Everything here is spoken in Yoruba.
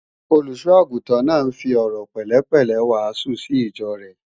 Olùṣọ́-àgùntàn náà ń fi ọ̀rọ̀ pẹ̀lẹ́pẹ̀lẹ́ wàásù sí ìjọ rẹ̀